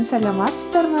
саламатсыздар ма